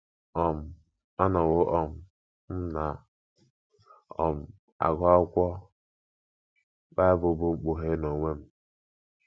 um Anọwo um m na - um agụ akwụkwọ Bible bụ́ Mkpughe n’onwe m.